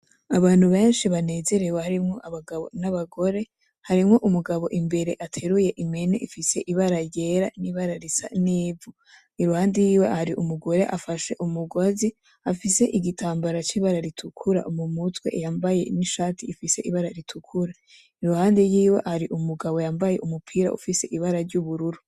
Abantu benshi banezerewe harimwo abagabo n'abagore. Harimwo imbere umugabo ateruye impene ifise ibara ryera n'ibara risa n'ivu, iruhande yiwe har'umugore afashe umugozi, afise igitambara c'ibara ritukura mu mutwe yambaye n'ishati ifise ibara ritukura ,iruhande yiwe har'umugabo yambaye umupira ufise ibara ry'ubururu.